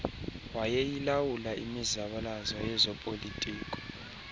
wayeyilawula imizabalazo yezopolitiko